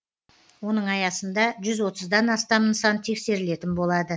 оның аясында жүз отыздан астам нысан тексерілетін болады